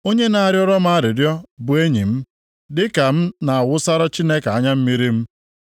Onye na-arịọrọ m arịrịọ bụ enyi m, dịka m na-awụsara Chineke anya mmiri m.